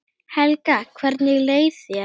Helga: Hvernig leið þér?